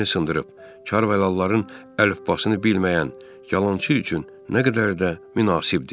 Əlini sındırıb, karvalalların əlifbasını bilməyən yalançı üçün nə qədər də münasibdir!